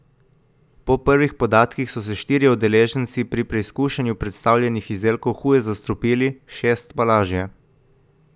Po prvih podatkih so se štirje udeleženci pri preizkušanju predstavljenih izdelkov huje zastrupili, šest pa lažje.